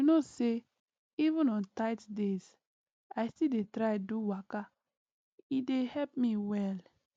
you know say even on tight days i still dey try do waka e dey help me well